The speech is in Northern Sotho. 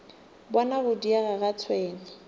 bona go diega ga tšhwene